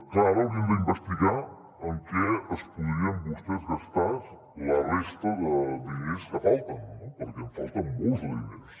clar ara hauríem d’investigar en què es podrien vostès gastar la resta de diners que falten no perquè en falten molts de diners